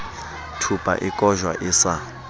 thupa e kojwa e sa